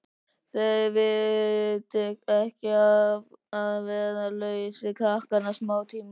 Þér veitir ekki af að vera laus við krakkana smátíma.